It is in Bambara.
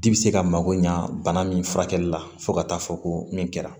Di bi se ka mago ɲa bana min furakɛli la fo ka taa fɔ ko min kɛra